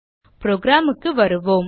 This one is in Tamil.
program க்கு வருவோம்